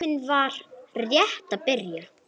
Tíminn var rétt að byrja.